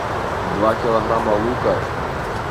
два килограмма лука